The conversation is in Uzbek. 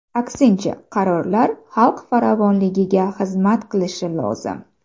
Aksincha, qarorlar xalq farovonligiga xizmat qilishi lozim.